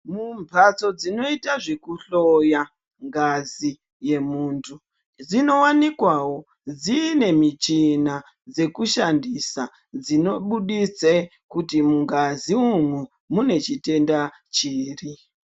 Mumhatso dzinoita zvekuhloya ngazi yemuntu dzinowanikwawo dzine michina yekushandisa dzinobuditse kuti mungazi umu mune chitenda chiri.